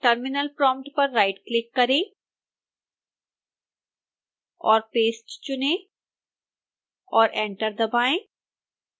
terminal prompt पर right click करें और paste चुनें और एंटर दबाएं